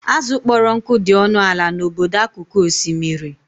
Azụ kpọrọ nkụ dị ọnụ ala n'obodo akụkụ osimiri.